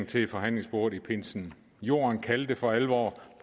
til forhandlingsbordet i pinsen jorden kaldte for alvor